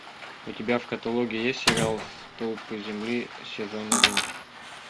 у тебя в каталоге есть сериал столпы земли сезон один